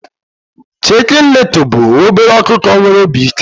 Chicken Little bụ obere ọkụkọ nwere obi ike